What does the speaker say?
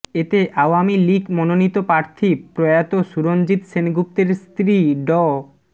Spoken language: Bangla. এতে আওয়ামী লীগ মনোনীত প্রার্থী প্রয়াত সুরঞ্জিত সেনগুপ্তের স্ত্রী ড